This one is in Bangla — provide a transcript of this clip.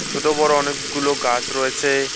ছোট বড়ো অনেকগুলো গাছ রয়েছে।